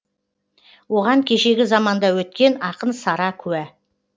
оған кешегі заманда өткен ақын сара куә